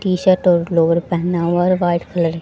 T shirt और lower पहना हुआ हैं और वाइट कलर --